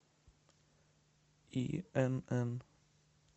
инн